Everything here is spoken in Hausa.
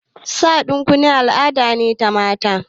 Sa ɗan kunne al'ada ne na mata.